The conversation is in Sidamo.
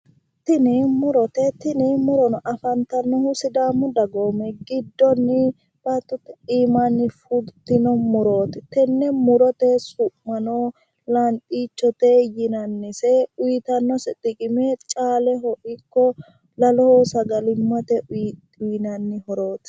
Tini mu'rote tini mu'rono afantannohu sidaamu dagoomi giddoonni baattote aanaanni fultino mu'rooti tenne mu'ro su'mino lanxichote yinannise uuytanno horoseno caaleho ikko laloho sagalimmate uyinanni horooti